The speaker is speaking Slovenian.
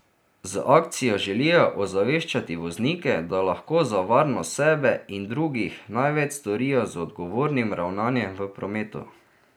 Z akcijo želijo ozaveščati voznike, da lahko za varnost sebe in drugih največ storijo z odgovornim ravnanjem v prometu.